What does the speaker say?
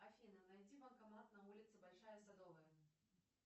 афина найди банкомат на улице большая садовая